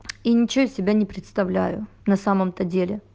и ничего из себя не представляю на самом-то деле